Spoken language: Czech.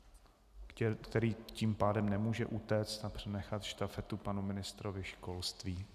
Který tím pádem nemůže utéct a přenechat štafetu panu ministrovi školství.